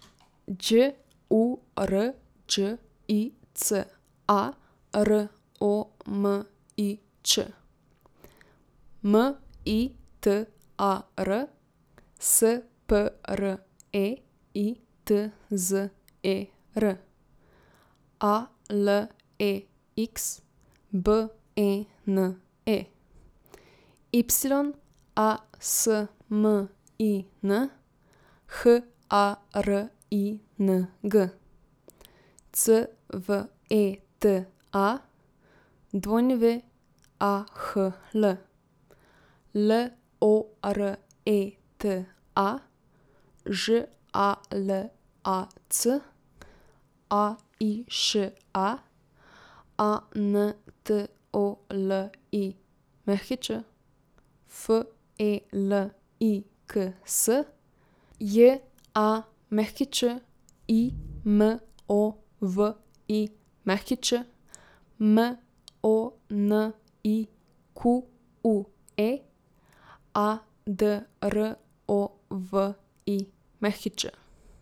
Đ U R Đ I C A, R O M I Č; M I T A R, S P R E I T Z E R; A L E X, B E N E; Y A S M I N, H A R I N G; C V E T A, W A H L; L O R E T A, Ž A L A C; A I Š A, A N T O L I Ć; F E L I K S, J A Ć I M O V I Ć; M O N I Q U E, A D R O V I Ć.